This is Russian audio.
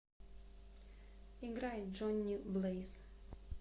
играй джонни блэйз